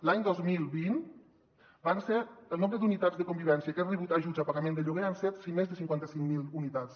l’any dos mil vint el nombre d’unitats de convivència que han rebut ajuts a pagament de lloguer han sigut més de cinquanta cinc mil unitats